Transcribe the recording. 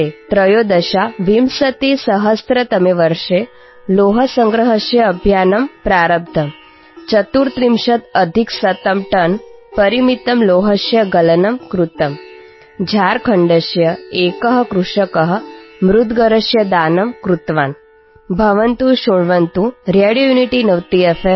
2013తమే వర్షే లోహసంగ్రహస్య అభియానం ప్రారబ్ధం | 134టన్పరిమితస్య లోహస్య గలనం కృతమ్ | జార్ఖండస్య ఏక వ్యవసాయవేత్త ముద్రరస్య దానం కృత్వాన్ | భవంతః శృణ్వంతు రేడియోయూనిటీనవతిఎఫ్